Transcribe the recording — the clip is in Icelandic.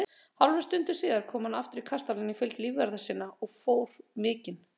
Hálfri stundu síðar kom hann aftur í kastalann í fylgd lífvarða sinna og fór mikinn.